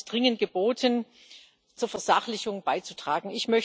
Ich glaube, es ist dringend geboten, zur Versachlichung beizutragen.